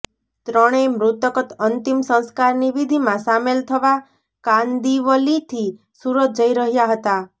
ત્રણેય મૃતક અંતિમ સંસ્કારની વિધિમાં સામેલ થવા કાંદિવલીથી સુરત જઇ રહ્યાં હતા